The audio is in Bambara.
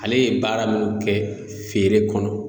Ale ye baara munnu kɛ feere kɔnɔ